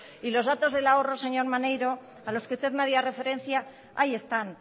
y los datos del ahorro señor maneiro a los que usted me hacía referencia ahí están